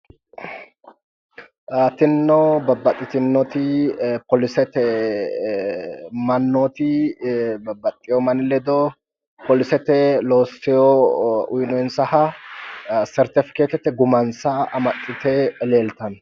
Tinino babbaxxitinnoti poolisete mannooti babbaxxiwo manni ledo polisete loossiwo uyinoyinsaha sertifikeettete gumansa amaxxite leeltanno.